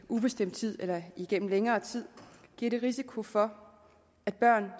ubestemt tid eller igennem længere tid giver det risiko for at børn